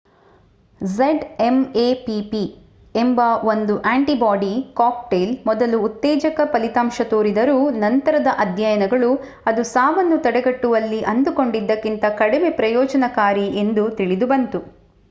zmapp ಎಂಬ ಒಂದು antibody cocktail ಮೊದಲು ಉತ್ತೇಜಕ ಫಲಿತಾಂಶ ತೋರಿದರೂ ನಂತರದ ಅಧ್ಯಯನಗಳು ಅದು ಸಾವನ್ನು ತಡೆಗಟ್ಟುವಲ್ಲಿ ಅಂದುಕೊಂಡದ್ದಕ್ಕಿಂತ ಕಡಿಮೆ ಪ್ರಯೋಜನಕಾರಿ ಎಂದು ತಿಳಿದು ಬಂತು